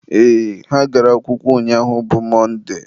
ee, ha gara akwụkwọ ụnyaahụ bụ Mọnde